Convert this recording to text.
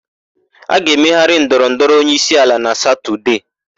A ga-emegharị ndọrọndọrọ onyeisiala na Satọdee.